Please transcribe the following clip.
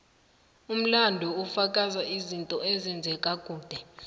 umlando ufaka izinto ezenzeka kade